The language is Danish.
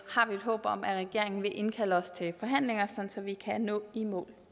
håb om at regeringen vil indkalde os til forhandlinger så vi kan nå i mål